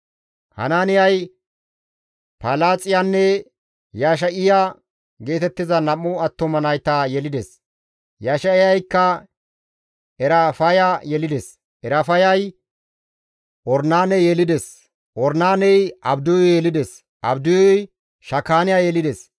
Hanaaniyay Palaaxiyanne Yesha7iya geetettiza nam7u attuma nayta yelides; Yesha7iyaykka Erafaya yelides; Erafayay Ornaane yelides; Ornaaney Abdiyu yelides; Abdiyuy Shakaaniya yelides.